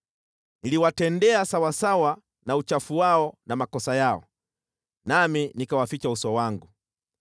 Niliwatendea sawasawa na uchafu wao na makosa yao, nami nikawaficha uso wangu.